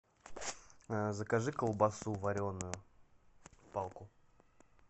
закажи колбасу вареную палку